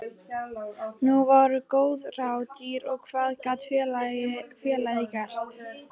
Nú voru góð ráð dýr og hvað gat félagið gert?